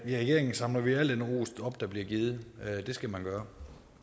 i regeringen samler vi al den ros op der bliver givet det skal man gøre